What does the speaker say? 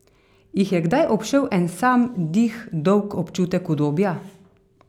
Jih je kdaj obšel en sam dih dolg občutek udobja?